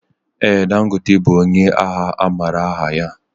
Ee Dangote bụ ónyé ahịa amaara aha ya.